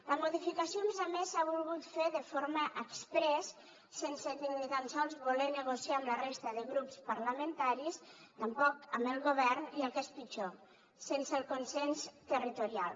la modificació a més a més s’ha volgut fer de forma exprés sense ni tan sols voler negociar amb la resta de grups parlamentaris tampoc amb el govern i el que és pitjor sense el consens territorial